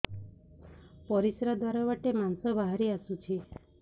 ପରିଶ୍ରା ଦ୍ୱାର ବାଟେ ମାଂସ ବାହାରି ଆସୁଛି